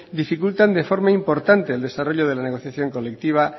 dificultan de forma importante el desarrollo de la negociación colectiva